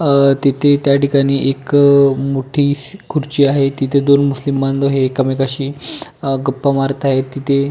अ तिथे त्या ठिकाणी एक अ मोठीसी खुर्ची आहे तिथे मुस्लिम बांधव हे एकामेकाशी अ गप्पा मारत आहेत तिथे--